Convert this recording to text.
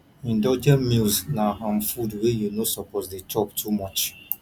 indulgent meals na um food wey you no suppose de chop too much